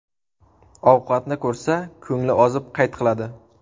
Ovqatni ko‘rsa, ko‘ngli ozib, qayt qiladi.